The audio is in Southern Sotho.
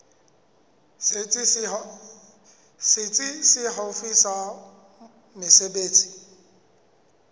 setsi se haufi sa mesebetsi